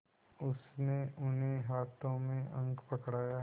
उसने उन्हें हाथों में अंक पकड़ाए